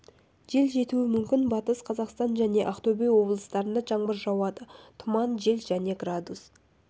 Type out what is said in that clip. жел жетуі мүмкін батыс қазақстан және ақтөбе облыстарында жаңбыр жауады тұман жел және градус